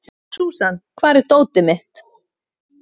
Súsan, hvar er dótið mitt?